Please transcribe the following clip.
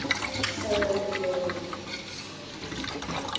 Þó jólin séu að koma.